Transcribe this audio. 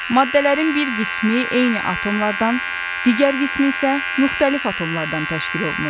Maddələrin bir qismi eyni atomlardan, digər qismi isə müxtəlif atomlardan təşkil olunur.